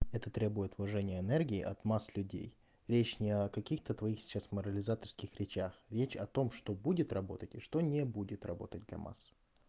это требует вложений энергии от масс людей речь не о каких-то твоих сейчас морализаторство речах речь о том что будет работать и что не будет работать масс